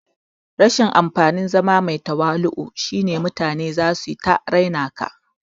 Rashin amfanin zama mai tawali'u shine mutane zasu ta raina ka